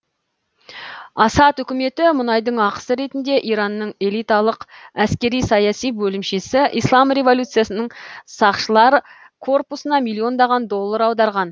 асад үкіметі мұнайдың ақысы ретінде иранның элиталық әскери саяси бөлімшесі ислам революциясының сақшылар корпусына миллиондаған доллар аударған